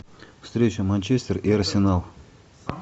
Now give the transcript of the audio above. встреча манчестер и арсенал